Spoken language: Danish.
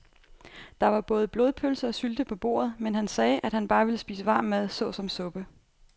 Der var både blodpølse og sylte på bordet, men han sagde, at han bare ville spise varm mad såsom suppe.